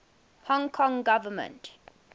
hong kong government